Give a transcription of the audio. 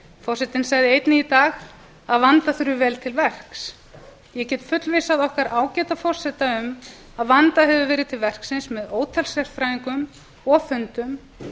forsetinn sagði einnig í dag að vanda þurfi vel til verks ég get fullvissað okkar ágæta forseta um að vandað hefur verið til verksins með ótal sérfræðingum og fundum